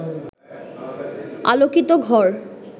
আলোকিত ঘর